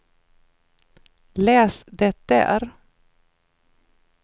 läs det där